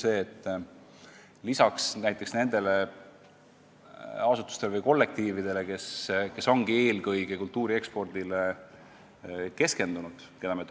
See on see, et nende asutuste või loovkollektiivide puhul, kes ongi eelkõige kultuuri ekspordile keskendunud, kelle